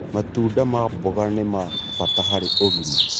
Matunda ma mmboga nĩ ma bata harĩ ũgima